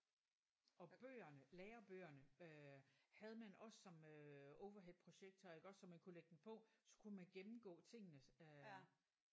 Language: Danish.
Og bøgerne lærerbøgerne øh havde man også som øh overheadprojektor iggås så man kunne lægge dem på så kunne man gennemgå tingene øh